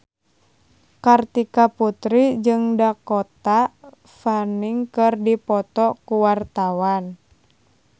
Kartika Putri jeung Dakota Fanning keur dipoto ku wartawan